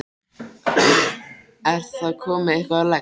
Er það komið eitthvað á legg?